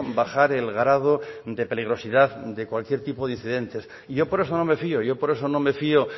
bajar el grado de peligrosidad de cualquier tipo de incidentes y yo por eso no me fío yo por eso no me fío